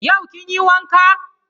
Yau kin yi wanka?